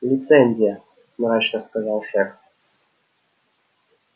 лицензия мрачно сказал шеф